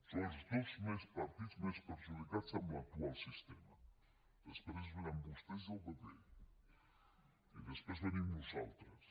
són els dos partits més perjudicats en l’actual sistema després vénen vostès i el pp i després venim nosaltres